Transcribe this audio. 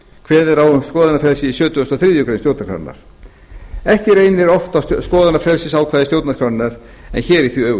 kveðið er á um skoðanafrelsi í sjötugasta og þriðju grein stjórnarskrárinnar ekki reynir oft á skoðanafrelsisákvæði stjórnarskrárinnar en hér er því öfugt